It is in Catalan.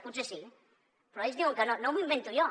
potser sí però ells diuen que no no m’ho invento jo